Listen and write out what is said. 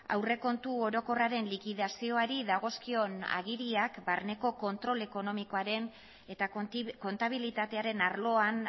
aurrekontu orokorraren likidazioari dagozkion agiriak barneko kontrol ekonomikoaren eta kontabilitatearen arloan